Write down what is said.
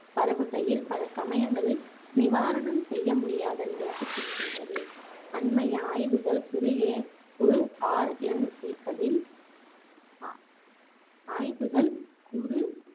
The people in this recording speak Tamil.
பரவுகையில், பல சமயங்களில் நிவாரணம் செய்யமுடியாத நிலைக்குச் செல்கின்றது. அண்மைய ஆய்வுகள் குறுகிய குறு RNA க்களில் ஆய்வுகள் குறு